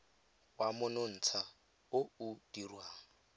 wa monontsha o o dirwang